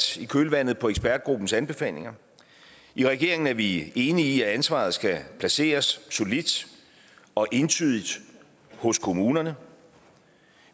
i kølvandet på ekspertgruppens anbefalinger i regeringen er vi enige i at ansvaret skal placeres solidt og entydigt hos kommunerne